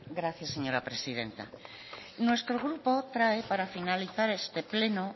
gracias señora presidenta nuestro grupo trae para finalizar este pleno